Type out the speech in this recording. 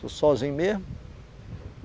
Sou sozinho mesmo.